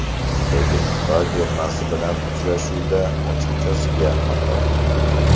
Lekin Xitoy termasi bilan uchrashuvda ochiqchasiga xato qildik.